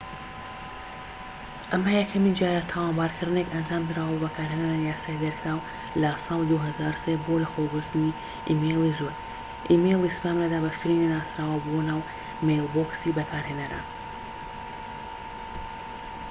ئەمە یەکەمین جارە تاوانبارکردنێک ئەنجامدراوە بە بەکارهێنانی یاسای دەرکراو لە ساڵی 2003 بۆ لەخۆگرتنی ئیمەیلی زۆر ئیمێیڵی سپام لە دابەشکردنی نەناسراو بۆ ناو مەیلبۆکسی بەکارهێنەران